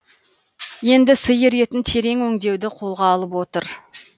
енді сиыр етін терең өңдеуді қолға алып отыр